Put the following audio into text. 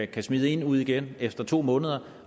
kan smide en ud igen efter to måneder